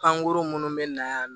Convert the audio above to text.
Pankurun minnu bɛ na yan